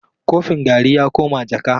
Kofin garri ya koma jaka.